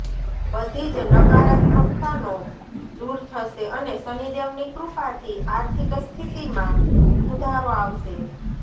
બધી જ નકારાત્મકતાનો દૂર થશે અને શનિદેવની કૃપાથી આર્થિક સ્થિતિમાં સુધારો આવશે